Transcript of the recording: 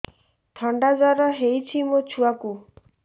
ଥଣ୍ଡା ଜର ହେଇଚି ମୋ ଛୁଆକୁ